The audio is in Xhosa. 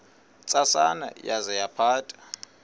ntsasana yaza yaphatha